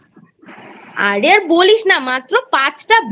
আরে আর বলিস না মাত্র পাঁচটা